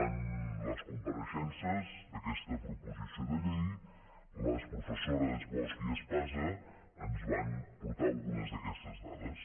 en les compareixences d’aquesta proposició de llei les professores bosch i espasa ens van portar algunes d’aquestes dades